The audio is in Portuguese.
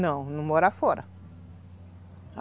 Não, não mora fora.